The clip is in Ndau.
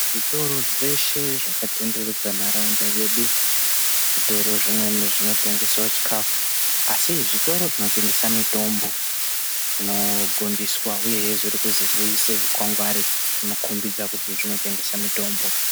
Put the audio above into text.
Zvitoro zveshe zvakatenderedza ntaraunda yedu zvitoro zvimweni zvinotengesawo chikafu asi zvitoro zvinotengeswa mutombo zvinogondiswa uyehe zviri kuzi zviise zvikwangwari zvinokombidza kuti zvinotengisa mutombo.